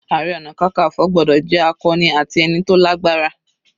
Ààrẹ ọna kankanfo gbọ́dọ̀ jẹ́ akọni ati ẹni tó lágbára.